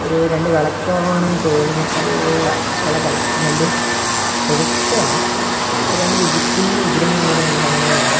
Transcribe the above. ഒരു രണ്ട് വെളക്കോ ആണെന്ന് തോന്നുന്നു അൽല്ല വെളക്കല്ല രണ്ട് പ്രതിഷ്ഠയല്ല രണ്ട് വിഗ്ര കുഞ്ഞ് വിഗ്രഹം കണക്കത്തെ രണ്ട് സാധനങ്ങളെയാണ്--